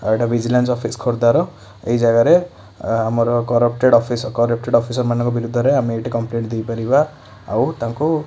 ଏଇଟା vigilance office ଖୋର୍ଦ୍ଧାର। ଏଇ ଜାଗାରେ ଆ ଆମର କରପ୍ଟେଡ଼ ଅଫିସ୍ କରପ୍ଟେଡ ଅଫିସର୍ ମାନଙ୍କ ବିରୁଦ୍ଧରେ ଆମେ ଏଇଠି କମ୍ପଲେନ୍ ଦେଇ ପାରିବା ଆଉ ତାଙ୍କୁ --